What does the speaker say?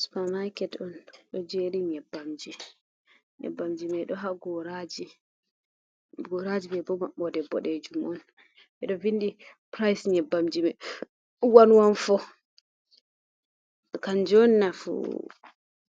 Supa maaket on ɗum ɗo jeri nyebbamji, nyebbamji mai ɗon ha goraji, goraji maibo maɓɓode boɗejum on ɓeɗo vindi pirys nyebbamji mai wan wan fo, kanju on nafu